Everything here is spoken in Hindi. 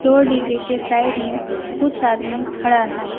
दो डी_जे के साइड में कुछ आदमी खड़ा हैं।